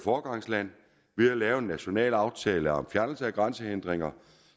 foregangsland ved at lave en national aftale om fjernelse af grænsehindringer